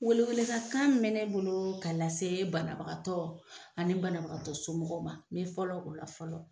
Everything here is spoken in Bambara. Weleweledakan min bɛ ne bolo don ka lase banabagatɔ ani banabagatɔ somɔgɔw ma , n bɛ fɔlɔ o la fɔlɔ.